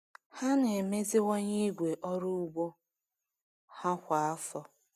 Ha na-emeziwanye igwe ọrụ ugbo ha kwa afọ.